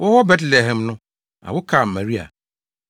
Wɔwɔ Betlehem no, awo kaa Maria,